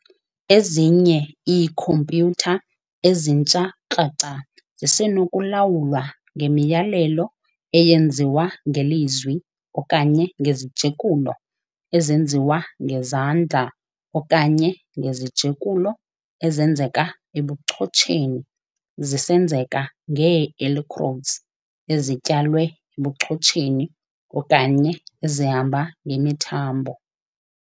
Ezinye iikhompyutha ezintsha kraca zisenokulawulwa ngemiyalelo eyenziwa ngelizwi okanye ngezijekulo ezenziwa ngezandla okanye ngezijekulo ezenzeka ebuchotsheni zisenzeka ngee-electrodes ezityalwe ebuchotsheni okanye ezihamba ngemithambo.